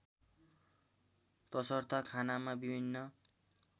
तसर्थ खानामा विभिन्न